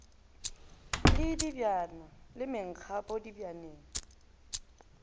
le dibjana le mengapo dibjaneng